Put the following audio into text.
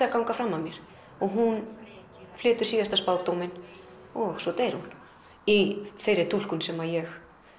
að ganga fram af mér og hún flytur síðasta spádóminn og svo deyr hún í þeirri túlkun sem ég